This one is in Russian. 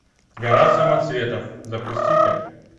гора самоцветов запусти ка